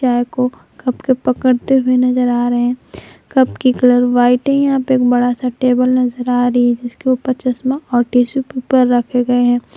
को कप को पकड़ते हुए नजर आ रहे हैं कप की कलर व्हाइट है यहां पे बड़ा सा टेबल नजर आ रही है जिसके ऊपर चश्मा और टिशू पेपर रखे गए हैं।